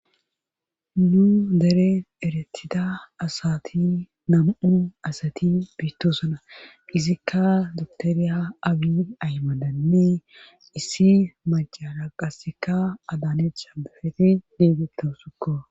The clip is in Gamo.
nu dere eretida asati nam7u asati biittosuna izikka duktoriya abi aymadanne issi macara qasikka adaane shabefeti diigettau sukko